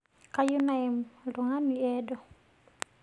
Kayieu nayem ltungani eedoh